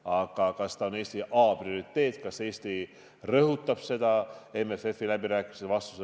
Aga kas see on Eesti A-prioriteet, kas Eesti rõhutab seda MFF-i läbirääkimistel?